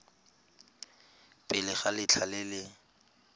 pele ga letlha le le